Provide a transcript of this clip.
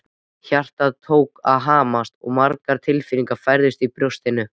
Hjartað tók að hamast og margar tilfinningar bærðust í brjóstinu.